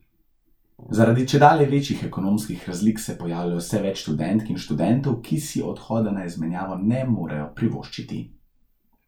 Zaradi čedalje večjih ekonomskih razlik se pojavlja vse več študentk in študentov, ki si odhoda na izmenjavo ne morejo privoščiti.